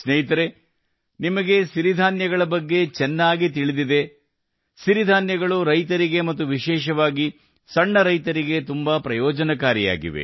ಮತ್ತು ಸ್ನೇಹಿತರೇ ನಿಮಗೆ ಚೆನ್ನಾಗಿ ತಿಳಿದಿದೆ ಸಿರಿಧಾನ್ಯಗಳು ರೈತರಿಗೆ ಮತ್ತು ವಿಶೇಷವಾಗಿ ಸಣ್ಣ ರೈತರಿಗೆ ಸಹ ಪ್ರಯೋಜನಕಾರಿ